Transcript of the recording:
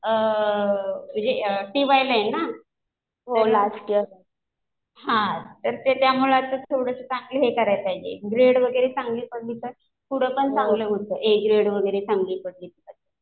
T वायला आहे ना. हा तर त्यामुळे आता थोडं चांगलं हे करायला पाहिजे. ग्रेड वगैरे चांगलं पडले तर पुढं पण चांगलं होतं. ए ग्रेड वगैरे चांगले पडले तर.